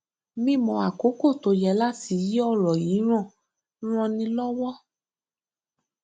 mímọ àkókò tó yẹ láti yí ọrọ yíran ràn ni lọwọ